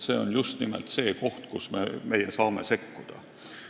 See on just nimelt see koht, kus meie saame sekkuda.